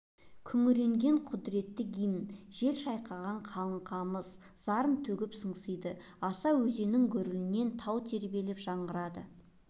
күңренген құдыретті гимн жел шайқаған қалың қамыс зарын төгіп сыңсиды асау өзеннің гүрілінен тау тербеліп жаңғырады